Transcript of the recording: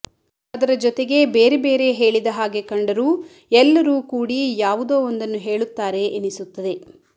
ಅದರ ಜೊತೆಗೆ ಬೇರೆ ಬೇರೆ ಹೇಳಿದ ಹಾಗೆ ಕಂಡರೂ ಎಲ್ಲರೂ ಕೂಡಿ ಯಾವುದೋ ಒಂದನ್ನು ಹೇಳುತ್ತಾರೆ ಎನಿಸುತ್ತದೆ